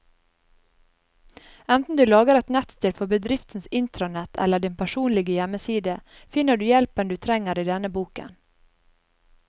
Enten du lager et nettsted for bedriftens intranett eller din personlige hjemmeside, finner du hjelpen du trenger i denne boken.